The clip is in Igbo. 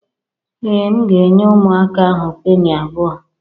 Ee, m ga-enye ụmụaka ahụ penny abụọ